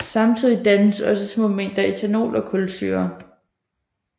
Samtidig dannes også små mængder ethanol og kulsyre